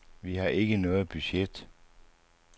Vi har ikke noget budget.